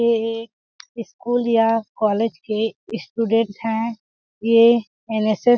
ये एक स्कुल या कॉलेज के स्टूडेंट है ये एनएसएस --